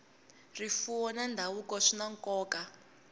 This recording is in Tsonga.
rifuwo na ndhavuko swi na nkoka